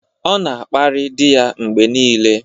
Ọ na-akparị di ya mgbe niile.